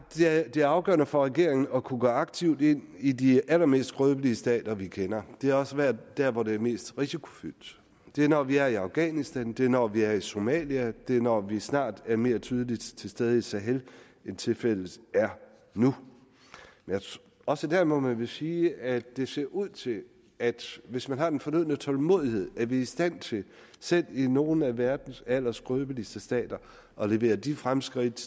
det er afgørende for regeringen at kunne gå aktivt ind i de allermest skrøbelige stater vi kender det er også været der hvor det er mest risikofyldt det er når vi er i afghanistan det er når vi er i somalia det er når vi snart er mere tydeligt til stede i sahel end tilfældet er nu også dér må man vel sige at det ser ud til at hvis man har den fornødne tålmodighed er vi i stand til selv i nogle af verdens allerskrøbeligste stater at levere de fremskridt